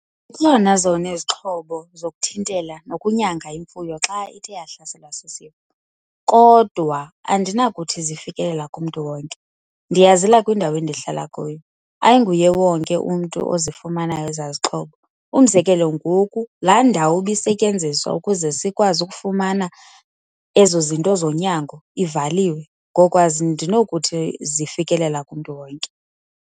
zona izixhobo zokuthintela nokunyanga imfuyo xa ithe yahlaselwa sisifo, kodwa andinakuthi zifikelela kumntu wonke. Ndiyazela kwindawo endihlala kuyo, ayinguye wonke umntu ozifumanayo ezaa zixhobo. Umzekelo, ngoku laa ndawo ibisetyenziswa ukuze sikwazi ukufumana ezo zinto zonyango ivaliwe. Ngoko andinokuthi zifikelela kumntu wonke.